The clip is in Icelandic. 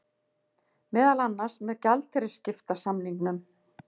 Meðal annars með gjaldeyrisskiptasamningum